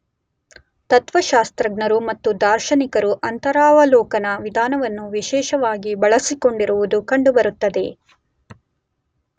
ತತ್ತ್ವಶಾಸ್ತ್ರಜ್ಞರು ಮತ್ತು ದಾರ್ಶನಿಕರು ಅಂತರವಲೋಕನ ವಿಧಾನವನ್ನು ವಿಶೇಷವಾಗಿ ಬಳಸಿಕೊಂಡಿರುವುದು ಕಂಡುಬರುತ್ತದೆ.